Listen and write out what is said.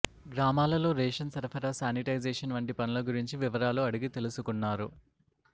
గ్రామాలలో రేషన్ సరఫరా సానిటైజేషన్ వంటి పనుల గురించి వివరాలు అడిగి తెలుసుకున్నారు